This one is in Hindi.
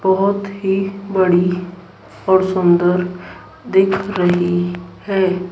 बहुत ही बड़ी और सुंदर दिख रही है।